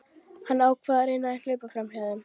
Hann ákvað að reyna að hlaupa framhjá þeim.